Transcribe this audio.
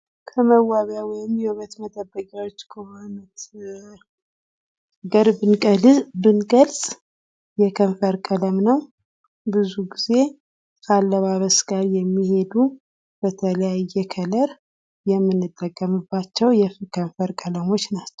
ከመዋቢያ ወይም የውበት መጠበቂያዎች ከሆኑት ነገር ብንገልፅ የከንፈር ቀለም ነው ።ብዙ ጊዜ ከአለባበስ ጋር የሚሄዱ በተለያየ ከለር የምንጠቀምባቸው የከንፈር ቀለሞች ናቸው ።